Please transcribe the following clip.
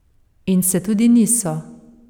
In se tudi niso ...